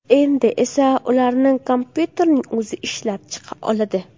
Endi esa ularni kompyuterning o‘zi ishlab chiqa oladi.